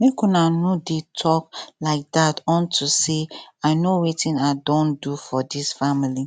make una no dey talk like dat unto say i know wetin i don do for dis family